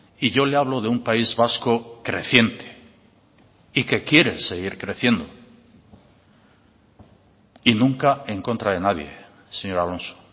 y yo le hablo de un país vasco creciente y que quiere seguir creciendo y nunca en contra de nadie señor alonso